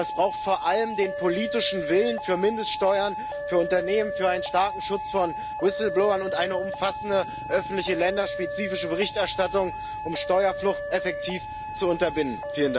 Aber es braucht vor allem den politischen Willen für Mindeststeuern für Unternehmen, für einen starken Schutz von Whistleblowern und eine umfassende öffentliche länderspezifische Berichterstattung, um Steuerflucht effektiv zu unterbinden.